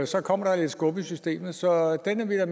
så kommer der lidt skub i systemet så den er